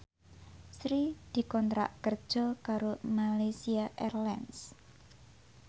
Sri dikontrak kerja karo Malaysia Airlines